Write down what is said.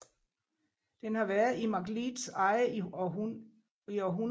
Den har været i McLeods eje i århundrede